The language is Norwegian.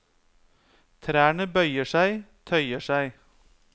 Trærne bøyer seg, tøyer seg.